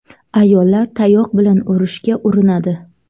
Ayollar tayoq bilan urishga urinadi.